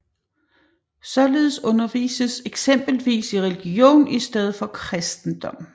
Således undervises eksempelvis i religion i stedet for kristendom